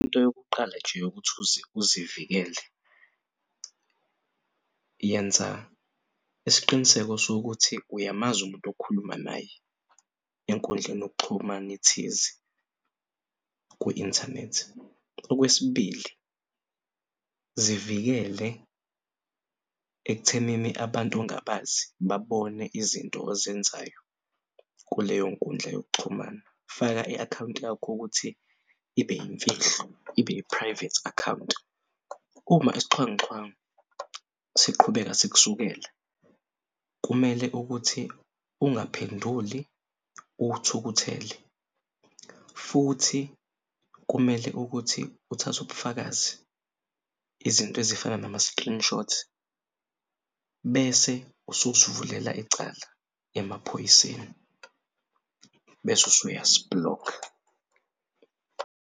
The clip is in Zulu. Into yokuqala nje yokuthi uzivikele yenza isiqiniseko sokuthi uyamazi umuntu okhuluma naye enkundleni yokuxhuman'ethize kwi inthanethi. Okwesibili, zivikele ekuthenini abantu ongabazi babone izinto ozenzayo kuleyo nkundla yokuxhumana. Faka i-akhawunti yakho ukuthi ibe imfihlo ibe i-private akhawunti. Uma isixhwanguxhwangu siqhubeka sikusukela kumele ukuthi ungaphenduli uthukuthele futhi kumele ukuthi uthathe ubufakazi izinto ezifana nama-screenshot bese usus'vulela icala emaphoyiseni bese usuyasi-block-a.